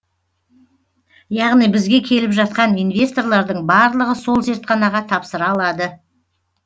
яғни бізге келіп жатқан инвесторлардың барлығы сол зертханаға тапсыра алады